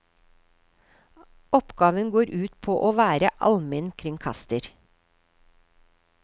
Oppgaven går ut på å være almenkringkaster.